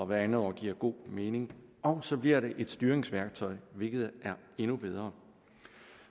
hvert andet år giver god mening og så bliver det et styringsværktøj hvilket er endnu bedre